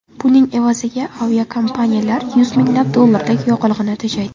Buning evaziga aviakompaniyalar yuz minglab dollarlik yoqilg‘ini tejaydi.